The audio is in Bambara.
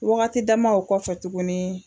Wagati dama o kɔ fɛ tuguni